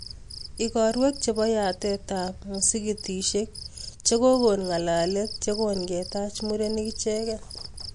Igorwek chepo yatet ap musikitisiek chegogon ng'alalet yogongetach murenik ichegei